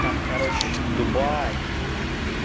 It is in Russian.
там короче дубай